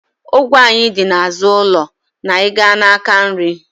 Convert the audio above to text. Ogwe anyị dị n'azụ ụlọ na ị gaa n'aka nri